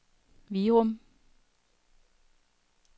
Virum